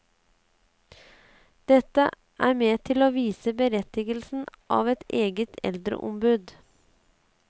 Dette er med til å vise berettigelsen av et eget eldreombud.